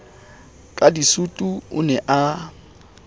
ka disutu o ne a